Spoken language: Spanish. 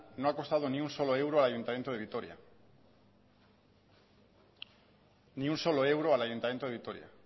no ha costado ni un solo euro al ayuntamiento de vitoria ni un solo euro al ayuntamiento de vitoria